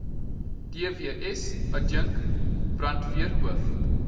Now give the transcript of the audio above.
dws adjunk brandweerhoof